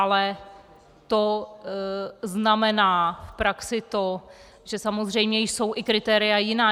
Ale to znamená v praxi to, že samozřejmě jsou i kritéria jiná.